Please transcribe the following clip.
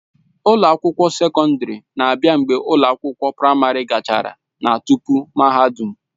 Ụlọ akwụkwọ sekọndrị na-abịa mgbe ụlọ akwụkwọ praịmarị gachara na tupu mahadum.